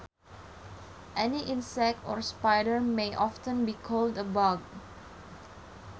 Any insect or spider may often be called a bug